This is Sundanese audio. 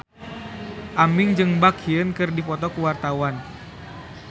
Aming jeung Baekhyun keur dipoto ku wartawan